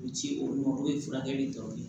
U ci olu ma olu ye furakɛli dɔrɔn ye